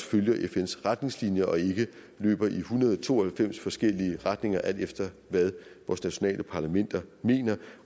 følger fns retningslinjer og ikke løber i en hundrede og to og halvfems forskellige retninger alt efter hvad vores nationale parlamenter mener